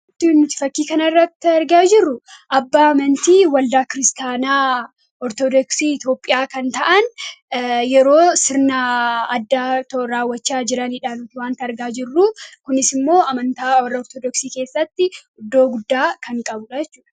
Wanti nuti fakkii kana irratti argaa jirru abbaa amantii waldaa kiristaanaa Ortodoksii Itoophiyaa kan ta'an yeroo sirna addaa otoo raawwachaa jirani dha wanti argaa jirru. Kunis immoo, amantaa warra Ortodoksii keessatti iddoo guddaa kan qabuu dha.